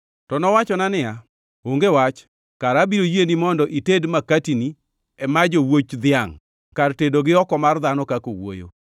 To nowachona niya, “Onge wach, kara abiro yieni mondo ited makatini e maj owuoch dhiangʼ kar tedo gi oko mar dhano kaka owuoyo.”